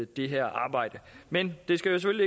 det her arbejde men det skal